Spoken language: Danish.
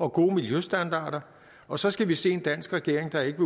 og gode miljøstandarder og så skal vi se en dansk regering der ikke